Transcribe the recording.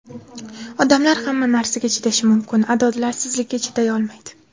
Odamlar hamma narsaga chidashi mumkin, adolatsizlikka chiday olmaydi.